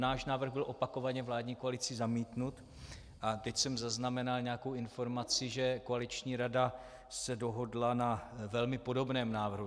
Náš návrh byl opakovaně vládní koalicí zamítnut a teď jsem zaznamenal nějakou informaci, že koaliční rada se dohodla na velmi podobném návrhu.